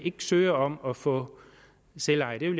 søger om at få selveje